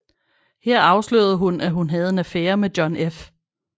Her afslørede hun at hun havde en affære med John F